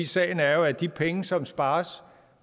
sagen er at de penge som spares